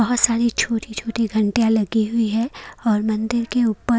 बहुत सारी छोटी छोटी घंटियां लगी हुई है और मंदिर के ऊपर--